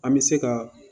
An bɛ se ka